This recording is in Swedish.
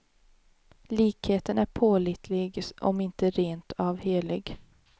Likheten är pålitlig om inte rent av helig.